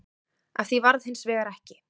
Af því varð hins vegar ekki